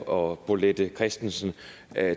og bolette christensen